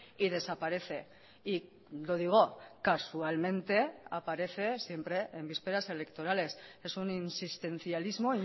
y desaparece y lo digo casualmente aparece siempre en vísperas electorales es un insistencialismo